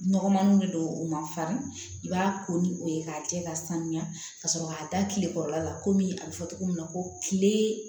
Nɔgɔmaniw de don u ma farin i b'a ko ni o ye k'a cɛ ka sanuya ka sɔrɔ k'a da kile kɔrɔla la ko min a bɛ fɔ cogo min na ko kile